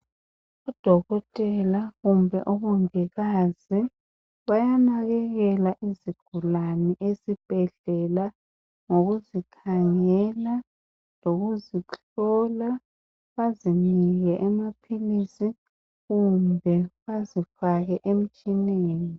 Udokotela kumbe umongikazi bayanakekela izigulane esibhedlela ngokuzikhangela lokuzihlola bazinike amaphilisi kumbe bazifake emtshineni.